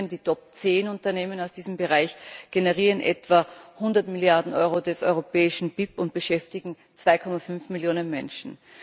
Die Top 10 Unternehmen aus diesem Bereich generieren etwa hundert Milliarden Euro des europäischen BIP und beschäftigen 2,5 Millionen Menschen.